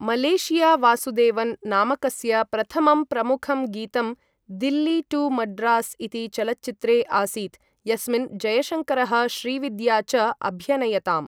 Malaysia Vasudevan नामकस्य प्रथमं प्रमुखं गीतं दिल्ली टू मड्रास् इति चलच्चित्रे आसीत्, यस्मिन् जयशङ्करः श्रीविद्या च अभ्यनयताम्।